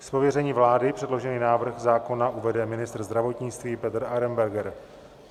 Z pověření vlády předložený návrh zákona uvede ministr zdravotnictví Petr Arenberger.